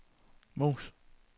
mus